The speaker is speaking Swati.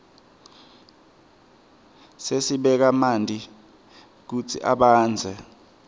sibeka manti kutsi abandze